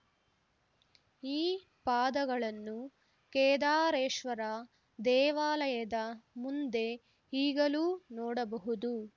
ಈ ಪಾದಗಳನ್ನು ಕೇದಾರೇಶ್ವರ ದೇವಾಲಯದ ಮುಂದೆ ಈಗಲೂ ನೋಡಬಹುದು